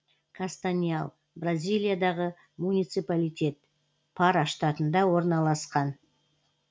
кастаньял бразилиядағы муниципалитет пара штатында орналасқан